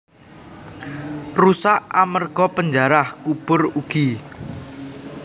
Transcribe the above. Rusak amerga panjarah kubur ugi